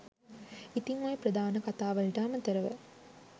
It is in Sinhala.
ඉතිං ඔය ප්‍රධාන කථා වලට අමතරව